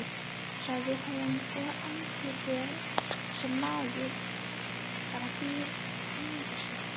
sagði hún, og andlit sem maður bara ímyndar sér